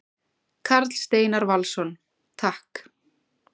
Karl Steinar Valsson: Takk.